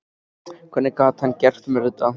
Hvernig gat hann gert mér þetta?